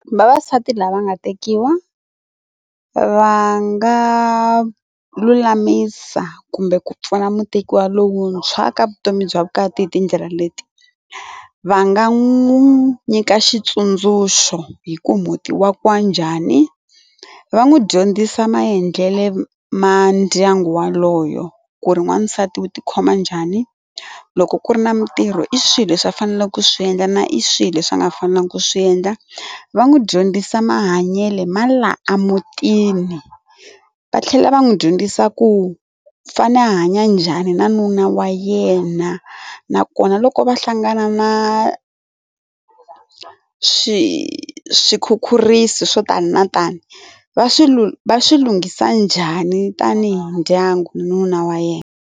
Vavasati lava nga tekiwa va nga lulamisa kumbe ku pfuna mutekiwa lowuntshwa ka vutomi bya vukati hi tindlela leti, va nga n'wi nyika xitsundzuxo hi ku muti wa kiwa njhani va n'wi dyondzisa maendlele ma ndyangu waloyo ku ri n'wansati wu ti khoma njhani loko ku ri na mitirho i swilo leswi va faneleke ku swi endla na i swilo leswi a nga fanelangi ku swi endla va n'wi dyondzisa mahanyele ma la amutini va tlhela va n'wi dyondzisa ku fane a hanya njhani na nuna wa yena nakona loko va hlangana na swikhukhuriso swo tani no tani va swilunghisa njhani tanihi ndyangu na nuna wa yena.